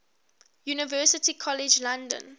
university college london